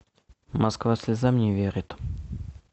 москва слезам не верит